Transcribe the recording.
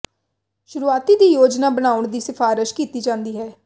ਸ਼ੁਰੂਆਤੀ ਦੀ ਯੋਜਨਾ ਬਣਾਉਣ ਦੀ ਸਿਫਾਰਸ਼ ਕੀਤੀ ਜਾਂਦੀ ਹੈ